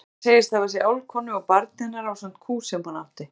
Hann segist hafa séð álfkonu og barn hennar ásamt kú sem hún átti.